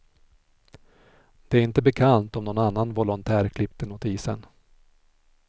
Det är inte bekant om någon annan volontär klippte notisen.